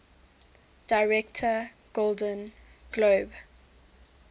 director golden globe